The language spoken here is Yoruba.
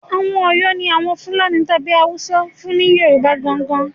Àwọn Ọ̀yọ́ ni Àwọn Fúlàní tàbí àwọn Haúsá fún ni Yorùbá gan-an gan-an